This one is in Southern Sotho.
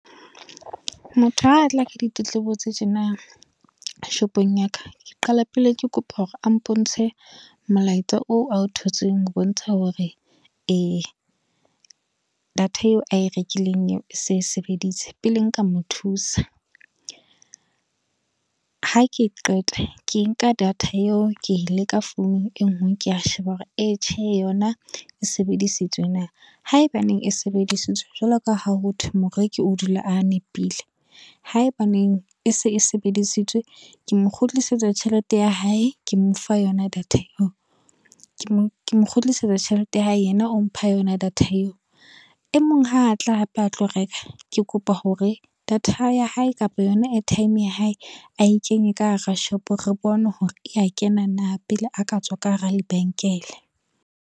Motho ha tla ditletlebo tse tjena shopong ya ka. Ke qala pele ke kopa hore a mpontshe molaetsa oo ao thotseng ho bontsha hore data eo a e rekileng eo e se sebeditse pele nka mo thusa. Ha ke qeta ke nka data eo ke e leka founung e ngwe, ke a sheba hore e tjhe yona e sebedisitswe na, haeba neng e sebedisitswe jwalo ka ha ho thwe moreki o dula a nepile haeba neng e se e sebedisitswe, ke mo kgutlisetsa tjhelete ya hae, ke mo fa yona data eo. Ke mo kgutlisetsa tjhelete ya hae yena o mpha yona data eo, e mong ha a tla hape a tlo reka, ke kopa hore data ya hae kapa yona airtime ya hae ae kenye ka hara shopo, re bone hore ya kena na pele a ka tswa ka hara lebenkele.